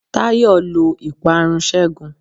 Táyọ́ lọ ìparun ségun.